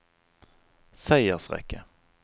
seiersrekke